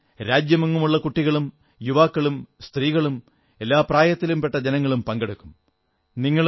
അതിൽ രാജ്യമെങ്ങുമുള്ള കുട്ടികളും യുവാക്കളും സ്ത്രീകളും എല്ലാ പ്രായത്തിലും പ്പെട്ട ജനങ്ങൾ പങ്കെടുക്കും